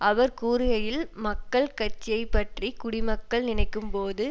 அவர் கூறுகையில் மக்கள் கட்சியை பற்றி குடிமக்கள் நினைக்கும் போது